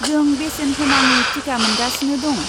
जों बेसेन होनाङि टिका मोनगासिनो दं।